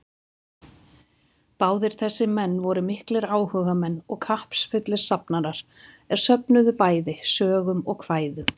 Báðir þessir menn voru miklir áhugamenn og kappsfullir safnarar, er söfnuðu bæði sögum og kvæðum.